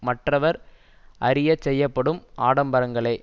மற்றவர் அறிய செய்யப்படும் ஆடம்பரங்களே